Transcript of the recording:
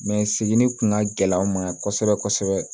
seginni kun ka gɛlɛn an ma kosɛbɛ kosɛbɛ